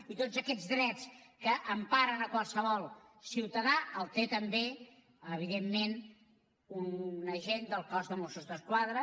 i tots aquests drets que emparen qualsevol ciutadà els té també evidentment un agent del cos de mossos d’esquadra